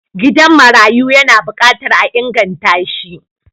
gidan marayu yana bukatar a inganta shi